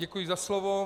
Děkuji za slovo.